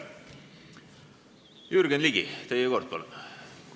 Jürgen Ligi, teie kord, palun!